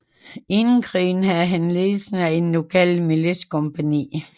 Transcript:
Inden krigen havde han ledelse af et lokalt militskompagni